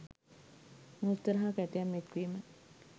මෝස්තර හා කැටයම් එක්වීම